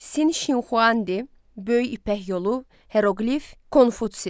Sin Şinxuandi, Böyük İpək Yolu, Heroqlif, Konfutsi.